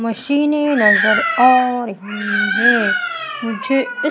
मशीनें नज़र आ रही हैं मुझे इस--